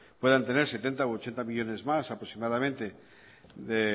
puedan tener setenta u ochenta millónes más aproximadamente